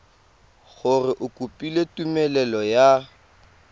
gore o kopile tumelelo ya